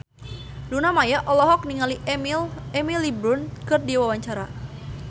Luna Maya olohok ningali Emily Blunt keur diwawancara